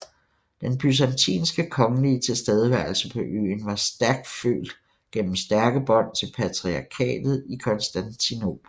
Den byzantinske kongelige tilstedeværelse på øen var stærkt følt gennem stærke bånd til patriarkatet i Konstantinopel